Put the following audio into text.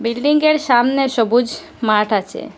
বিল্ডিংয়ের সামনে সবুজ মাঠ আছে।